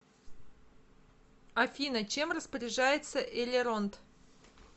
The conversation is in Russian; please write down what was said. афина чем распоряжается элеронд